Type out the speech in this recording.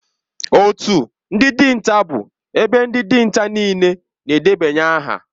Otu ndị dinta bụ ebe ndị dinta niile na-edebanye aha